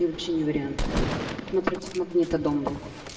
вообще не вариант напротив магнита дом был